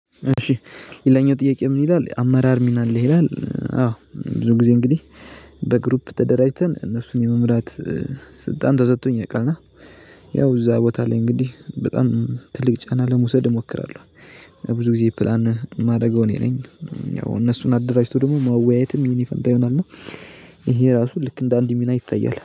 እሺ ሌለኛው ጥያቄ ምን ይላል አመራር ሚና አለ ይላል? አዎ ብዙ ጊዜ እንግዲህ በግሩፕ ተደራጅተን እነሱን የመምራት ስልጣን ተሰጥቶኝ። ያው እዛ ቦታ ላይ እንግዲህ በጣም ትልቅ ጫና ለመውሰድ እሞክራለሁ። ብዙ ጊዜ ፕላን የማደርገው እኔ ነኝ። ያው እነሱን አደራጅቶ ደግሞ መወያየትም ይሄን ፈንታ ይሆናል ነው። ይሄ ራሱ ልክ እንደ አንድ ሚና ይታያል